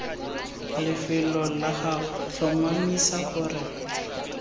lefelong la gago tlhomamisa gore